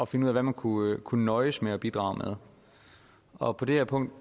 finde ud af hvad man kunne kunne nøjes med at bidrage med og på det her punkt